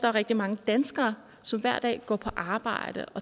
er rigtig mange danskere som hver dag går på arbejde